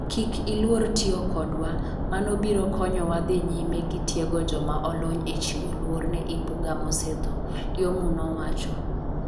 Kik iluor tiyo kodwa, mano biro konyowa dhi nyime gi tiego joma olony e chiwo luor ne Imbuga mosetho, Lyomu nowacho.